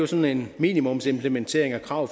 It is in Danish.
sådan en minimumsimplementering af krav